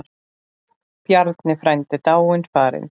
Bjarni frændi er dáinn, farinn.